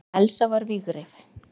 En Elsa var vígreif.